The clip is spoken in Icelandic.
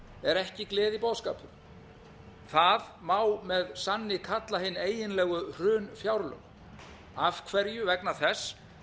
er ekki gleðiboðskapur það má með annað kalla hin eiginlegu hrunfjárlög af hverju vegna þess